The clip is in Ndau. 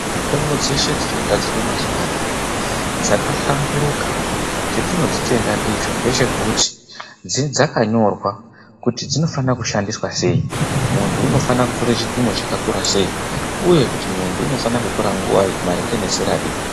Mitombo dzeshe dzinogadzirwe mazuvanaya dzakahlamburuka, chetinodzitenda ndicho ndechekuti dzakanyorwa kuti dzinofane kushandiswa sei, muntu unofane kutore chipimo chakakura sei, uye kuti muntu unofane kutora nguvai, maringe nezera ripi.